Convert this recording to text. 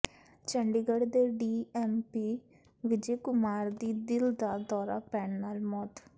ਚੰਡੀਗੜ੍ਹ ਦੇ D S P Vijay Kumar ਦੀ ਦਿਲ ਦਾ ਦੌਰਾ ਪੈਣ ਨਾਲ ਮੌਤ